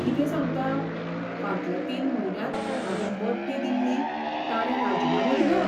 Howrah Puri express